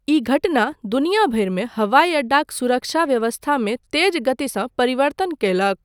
ई घटना दुनिया भरिमे हवाइ अड्डाक सुरक्षा व्यवस्थामे तेज गतिसँ परिवर्तन कयलक।